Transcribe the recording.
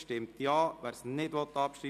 Abstimmung (Abschreibung)